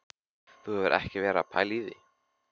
Þú hefur ekki verið að pæla í því?